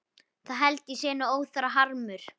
Það held ég sé nú óþarfur harmur.